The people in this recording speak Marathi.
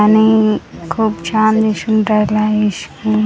आणि खूप छान दिसून राहिला आहे --